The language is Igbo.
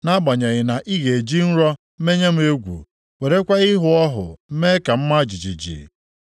nʼagbanyeghị na ị na-eji nrọ menye m egwu werekwa ịhụ ọhụ mee ka m maa jijiji,